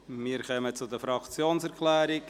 Wir kommen zu den Fraktionserklärungen.